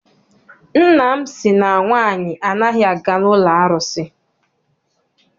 Nna m sị na nwaanyị anaghị aga n'ụlọ arụsị.